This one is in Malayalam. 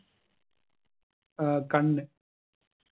ഏർ കണ്ണ്